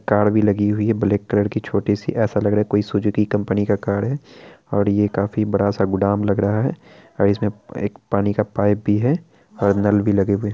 car भी लगी हुई ब्लैक कलर की छोटी-सी ऐसा लग रहा है कोई सुजुकी कंपनी का कार है और ये काफी बडा-सा गोडाउन लग रहा है और इसमें एक पानी का पाइप भी है और नल भी लगा हुआ--